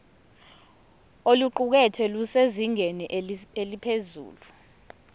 oluqukethwe lusezingeni eliphezulu